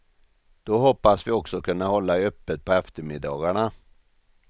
Då hoppas vi också kunna hålla öppet på eftermiddagarna.